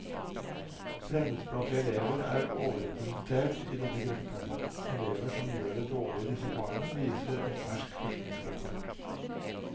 Fremmedspråklige elever er overrepresentert i den gruppen elever som gjør det dårlig i disse fagene, viser en fersk forskningsrapport.